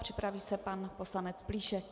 Připraví se pan poslanec Plíšek.